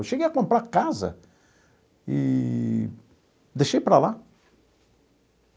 Eu cheguei a comprar casa eee deixei para lá.